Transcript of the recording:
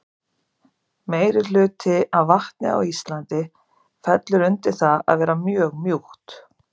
Meirihluti af vatni á Íslandi fellur undir það að vera mjög mjúkt.